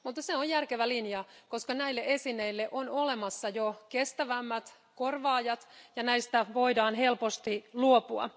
Mutta se on järkevä linja, koska näille esineille on olemassa jo kestävämmät korvaajat, joten niistä voidaan helposti luopua.